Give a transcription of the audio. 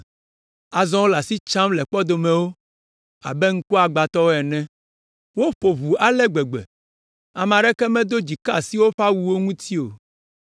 Azɔ wole asi tsam le kpɔdomewo abe ŋkuagbãtɔwo ene. Woƒo ʋu ale gbegbe be, ame aɖeke medo dzi ka asi woƒe awuwo ŋuti o.